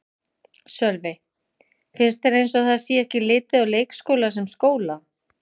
Sölvi: Finnst þér eins og það sé ekki litið á leikskóla sem skóla?